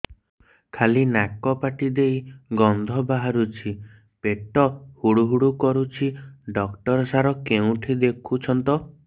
ଖାଲି ନାକ ପାଟି ଦେଇ ଗଂଧ ବାହାରୁଛି ପେଟ ହୁଡ଼ୁ ହୁଡ଼ୁ କରୁଛି ଡକ୍ଟର ସାର କେଉଁଠି ଦେଖୁଛନ୍ତ